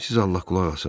Siz Allah qulaq asın.